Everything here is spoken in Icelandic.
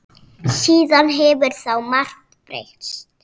Síðan þá hefur margt breyst.